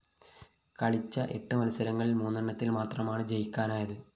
കളിച്ച എട്ട് മത്സരങ്ങളില്‍ മൂന്നെണ്ണത്തില്‍ മാത്രമാണ് ജയിക്കാനായത്